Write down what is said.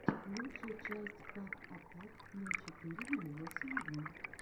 лучшая часть пак атак ноль четыре ноль восемь два